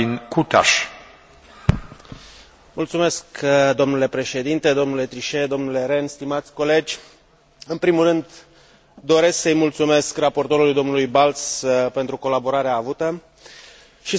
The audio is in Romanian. În primul rând, doresc să i mulțumesc raportorului, domnul Balz, pentru colaborarea avută și să salut conferirea statutului de instituție europeană Băncii Centrale Europene odată cu intrarea în vigoare a Tratatului de la Lisabona.